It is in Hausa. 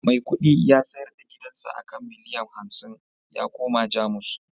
Maikudi ya sayar da gidansa a kan miliyan hamsin ya koma Jamus